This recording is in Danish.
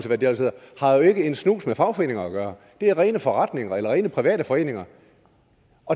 hvad de ellers hedder har jo ikke en snus med fagforeninger at gøre det er rene forretninger eller rene private foreninger